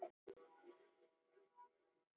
Fáðu þér snafs!